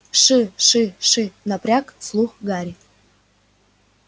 ш-ш-ш напряг слух гарри